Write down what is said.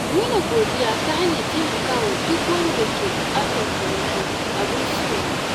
Nuna godiya ta hanyar taimakawa duk wanda ke buƙatar taimako abin so ne.